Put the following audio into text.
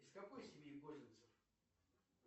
из какой семьи козинцев